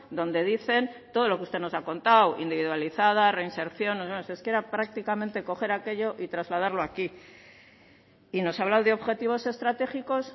donde dicen todo lo que usted nos ha contado individualizada reinserción es que era prácticamente coger aquello y trasladarlo aquí y nos ha hablado de objetivos estratégicos